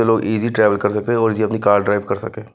लोग easy travel कर सकते हैं और इजी अपनी कार ड्राइव कर सके--